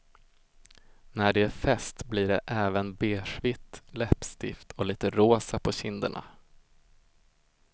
När det är fest blir det även beigevitt läppstift och lite rosa på kinderna.